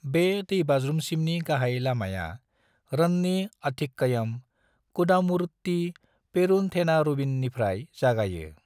बे दैबाज्रुमसिमनि गाहाय लामाया रन्नी-अथिक्कयम-कुदामुरुट्टी-पेरूनथेनारूवीननिफ्राय जागायो।